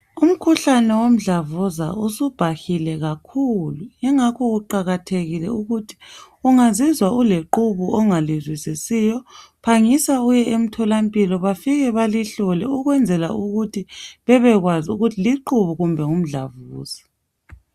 Umkhuhlane womdlavuza usubhahile kakhulu ingakho kuqakathekile ukuthi ungazizwa uleqhubu ongalizwisisiyo, phangisa uye emthola mpilo bafike balihlole ukwenzela ukuthi bebekwazi ukuthi liqubu kumbengumdlavuza.